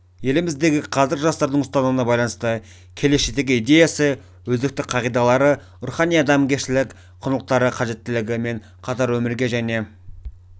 еліміздегі қазіргі жастардың ұстанымына байланысты келешектегі идеясы өзекті қағидалары рухани-адамгершілік құндылықтар қажеттілігі мен қатар өмірге және